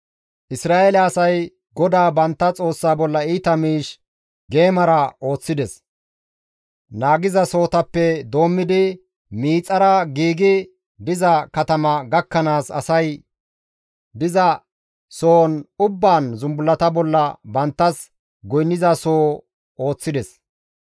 Isra7eele asay GODAA bantta Xoossaa bolla iita miish geemara ooththida; naagizasohotappe doommidi miixara giigi diza katama gakkanaas asay diza sohon ubbaan zumbullata bolla banttas goynnanasoho ooththida.